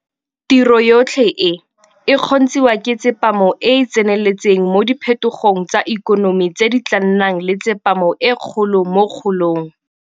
Tiro yotlhe e, e kgontshiwa ke tsepamo e e tseneletseng mo diphetogong tsa ikonomi tse di tla nnang le tsepamo e kgolo mo kgolong.